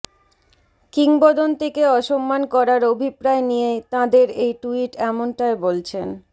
কিংবদন্তিকে অসম্মান করার অভিপ্রায় নিয়েই তাঁদের এই টুইট এমনটাই বলছেন